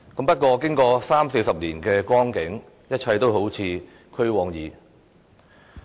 不過，經過三四十年的光景，一切都好像俱往矣。